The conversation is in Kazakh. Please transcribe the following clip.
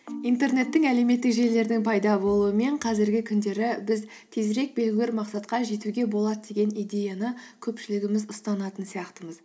интернеттің әлеуметтік желілердің пайда болуымен қазіргі күндері біз тезірек белгілі бір мақсатқа жетуге болады деген идеяны көпшілігіміз ұстанатын сияқтымыз